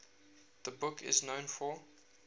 the book is known for